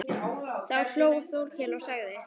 Þá hló Þórkell og sagði